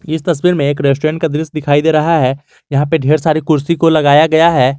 इस तस्वीर में एक रेस्टोरेंट का दृश्य दिखाई दे रहा है यहां पे ढेर सारे कुर्सी को लगाया गया है।